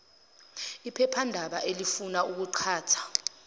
iphephandaba alifuni ukuqhatha